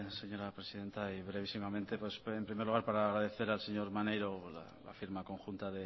señora presidenta y brevísimamente en primer lugar para decir para agradecer al señor maneiro la firma conjunta